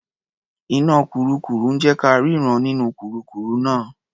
Iná kurúkurù ń jé ka rínran nínú kurúkurù náà.